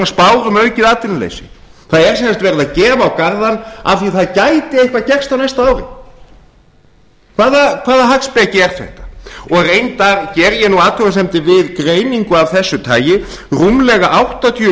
spár um aukið atvinnuleysi það er sem sagt verið að gefa á garðann af því að það gæti eitthvað gerst á næsta ári hvaða hagspeki er þetta reyndar geri ég nú athugasemdir við greiningu af þessu tagi rúmlega áttatíu og sex